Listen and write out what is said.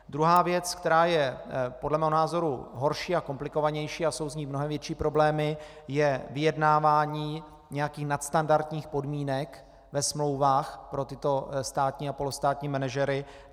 Druhá věc, která je podle mého názoru horší a komplikovanější a jsou s ní mnohem větší problémy, je vyjednávání nějakých nadstandardních podmínek ve smlouvách pro tyto státní a polostátní manažery.